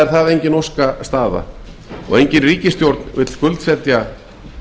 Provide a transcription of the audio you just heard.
það er engin óskastaða og engin ríkisstjórn vill skuldsetja